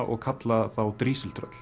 og kalla þá